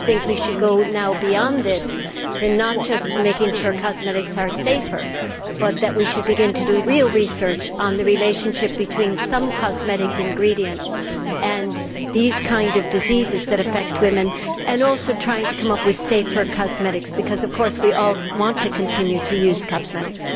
I think we should now go beyond this, not just to make sure that cosmetics are safer, but we should also begin to do real research on the relationship between some cosmetic ingredients and these kinds of diseases that affect women and also try to come up with safer cosmetics, because of course we all want to continue to use cosmetics.